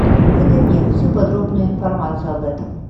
выдай мне всю подробную информацию об этом